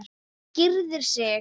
Gyrðir sig.